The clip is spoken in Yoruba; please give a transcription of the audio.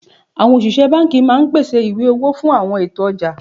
Àwọn òṣìṣẹ́ banki máa ń pèsè ìwé owó fún àwọn ètò ọjà